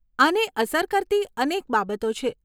આને અસર કરતી અનેક બાબતો છે.